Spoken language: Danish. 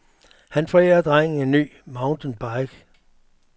Han forærer drengen en ny mountain bike.